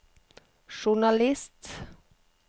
journalist